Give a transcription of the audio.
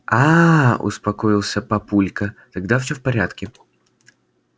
аа успокоился папулька тогда всё в порядке